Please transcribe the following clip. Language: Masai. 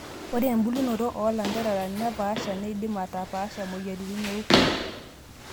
Ore embulunoto olanterera nepaasha neidim ataapash moyiaritin oorkurt.